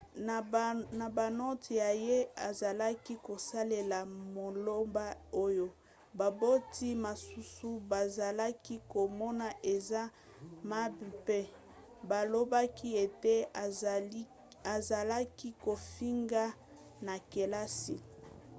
na banote na ye azalaki kosalela maloba oyo baboti mosusu bazalaki komona eza mabe mpe balobaki ete azalaki kofinga na kelasi